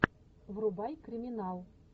врубай криминал